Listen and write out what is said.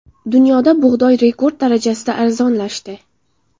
Dunyoda bug‘doy rekord darajasida arzonlashdi.